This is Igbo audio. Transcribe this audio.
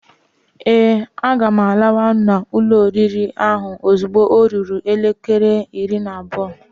Ee, a ga m lawa na ulo oriri ahụ ozugbo ọ ruru elekere iri na abụọ.